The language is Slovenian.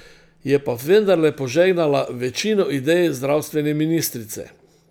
Je pa vendarle požegnala večino idej zdravstvene ministrice.